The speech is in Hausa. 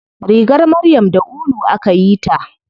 Rigar maryam da ulu akayi ta.